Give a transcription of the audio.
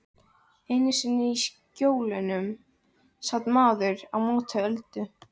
Einu sinni í Skjólunum sat maðurinn á móti Öldu.